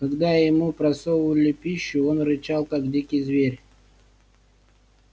когда ему просовывали пищу он рычал как дикий зверь